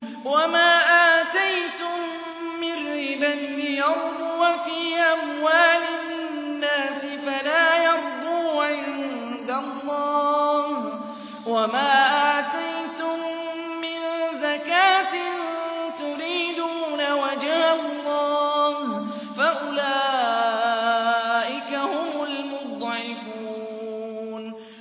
وَمَا آتَيْتُم مِّن رِّبًا لِّيَرْبُوَ فِي أَمْوَالِ النَّاسِ فَلَا يَرْبُو عِندَ اللَّهِ ۖ وَمَا آتَيْتُم مِّن زَكَاةٍ تُرِيدُونَ وَجْهَ اللَّهِ فَأُولَٰئِكَ هُمُ الْمُضْعِفُونَ